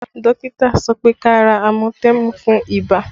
Dókítà sọ pé kí a ra amatẹmù fún ibà